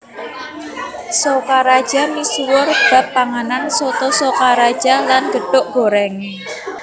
Sokaraja misuwur bab panganan Soto Sokaraja lan gethuk gorèngé